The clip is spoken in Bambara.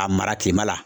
A mara kilema la